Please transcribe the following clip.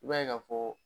I b'a ye ka fɔ